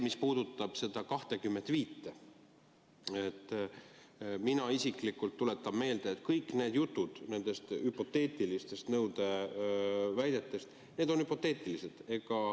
Mis puudutab seda aastal 2025, siis mina isiklikult tuletan meelde, et kõik need jutud ja väited on hüpoteetilised.